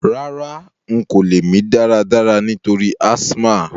Rárá, n ko lẹ́ mí dáradára nítorí asthma